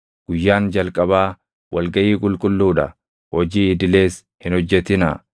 Guyyaan jalqabaa wal gaʼii qulqulluu dha; hojii idilees hin hojjetinaa.